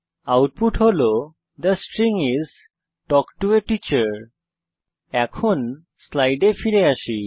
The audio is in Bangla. আউটপুট হল the string is talk to A teacher এখন স্লাইডে ফিরে আসি